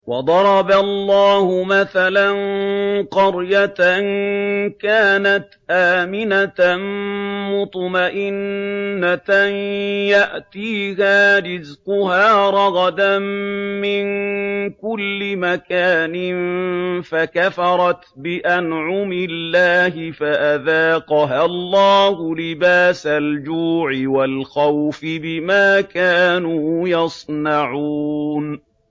وَضَرَبَ اللَّهُ مَثَلًا قَرْيَةً كَانَتْ آمِنَةً مُّطْمَئِنَّةً يَأْتِيهَا رِزْقُهَا رَغَدًا مِّن كُلِّ مَكَانٍ فَكَفَرَتْ بِأَنْعُمِ اللَّهِ فَأَذَاقَهَا اللَّهُ لِبَاسَ الْجُوعِ وَالْخَوْفِ بِمَا كَانُوا يَصْنَعُونَ